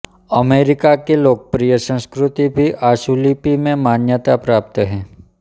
America की लोकप्रिय संस्कृति भी आशुलिपि में मान्यता प्राप्त है